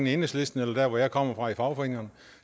i enhedslisten eller der hvor jeg kommer fra i fagforeningerne